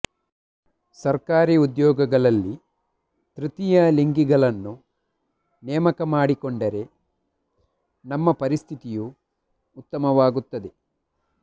ಸರ್ಕಾರಿ ಉದ್ಯೋಗಗಳಲ್ಲಿ ತೃತೀಯ ಲಿಂಗಿಗಳನ್ನು ನೇಮಕ ಮಾಡಿಕೊಂಡರೆ ನಮ್ಮ ಪರಿಸ್ಥಿತಿಯೂ ಉತ್ತಮವಾಗುತ್ತದೆ